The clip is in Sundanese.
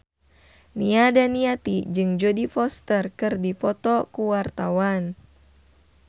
Nia Daniati jeung Jodie Foster keur dipoto ku wartawan